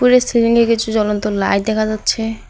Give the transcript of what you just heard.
উপরে সিলিংয়ে কিছু জ্বলন্ত লাইট দেখা যাচ্ছে।